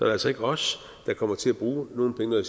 altså ikke os der kommer til at bruge nogle penge og